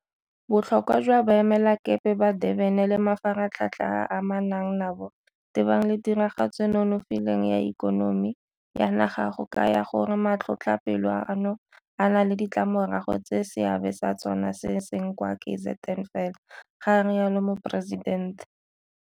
Botlhokwa jwa Boemelakepe ba Durban le mafaratlhatlha a a amanang nabo tebang le tiragatso e e nonofileng ya ikonomi ya naga go kaya gore matlhotlhapelo ano a na le ditlamorago tse seabe sa tsona se seng kwa KZN fela, ga rialo Moporesidente.